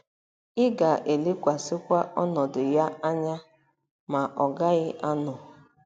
“Ị ga-elekwasịkwa ọnọdụ ya anya, ma ọ gaghị anọ.